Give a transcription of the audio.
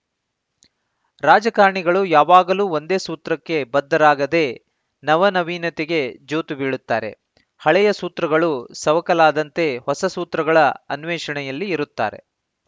ರಾಜಕಾರಣಿಗಳು ಯಾವಾಗಲೂ ಒಂದೇ ಸೂತ್ರಕ್ಕೆ ಬದ್ಧರಾಗದೇ ನವನವೀನತೆಗೆ ಜೋತು ಬೀಳುತ್ತಾರೆ ಹಳೆಯ ಸೂತ್ರಗಳು ಸವಕಲಾದಂತೆ ಹೊಸ ಸೂತ್ರಗಳ ಅನ್ವೇಷಣೆಯಲ್ಲಿ ಇರುತ್ತಾರೆ